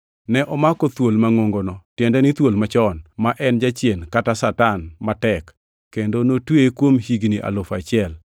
Ne omako thuol mangʼongono tiende ni thuol machon, ma en Jachien kata Satan matek, kendo notweye kuom higni alufu achiel.